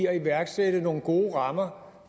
at iværksætte nogle gode rammer